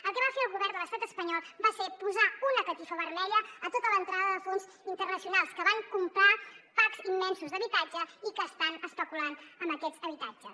el que va fer el govern de l’estat espanyol va ser posar una catifa vermella a tota l’entrada de fons internacionals que van comprar packs immensos d’habitatge i que estan especulant amb aquests habitatges